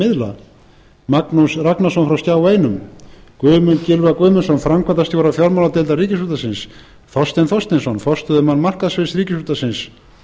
miðla magnús ragnarsson frá skjá einum guðmund gylfa guðmundsson framkvæmdastjóra fjármáladeildar ríkisútvarpsins þorstein þorsteinsson forstöðumann markaðssviðs ríkisútvarpsins